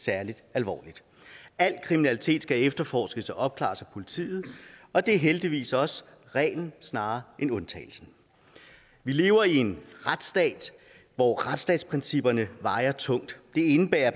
særlig alvorligt al kriminalitet skal efterforskes og opklares af politiet og det er heldigvis også reglen snarere end undtagelsen vi lever i en retsstat hvor retsstatsprincipperne vejer tungt det indebærer